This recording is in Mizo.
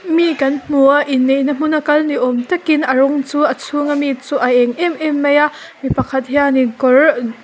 mi kan hmu a inneihna hmun a kal ni awm tak in a rawng chu a chhung a mi chu a êng em em mai a mi pakhat hian in kawr--